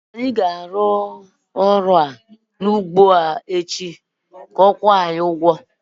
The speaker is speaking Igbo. Anyị ga-arụ ọrụ n'ugbọ ahụ n'izu na-abịa ka a kwụọ anyị ụgwọ